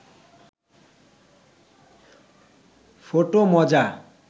photo মজা